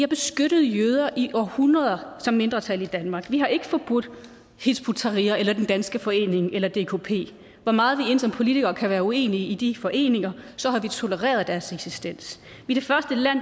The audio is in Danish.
beskyttet jøder i århundreder som mindretal i danmark vi har ikke forbudt hizb ut tahrir den danske forening eller dkp hvor meget vi end som politikere kan være uenige med de foreninger har vi tolereret deres eksistens vi